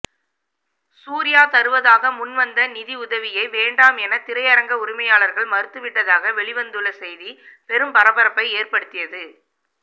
சூர்யா தருவதாக முன்வந்த நிதி உதவியை வேண்டாம் என திரையரங்க உரிமையாளர்கள் மறுத்துவிட்டதாக வெளிவந்துள்ள செய்தி பெரும் பரபரப்பை ஏற்படுத்தியது